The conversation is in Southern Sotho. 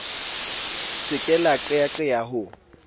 se ke la qeyaqeya ho